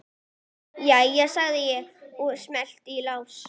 Jæja, segi ég og smelli í lás.